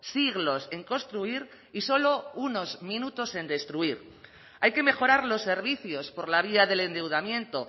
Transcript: siglos en construir y solo unos minutos en destruir hay que mejorar los servicios por la vía del endeudamiento